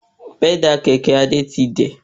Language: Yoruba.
Pẹ́dà kẹ̀kẹ́ Adé ti dẹ̀